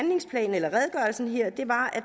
var